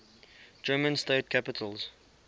german state capitals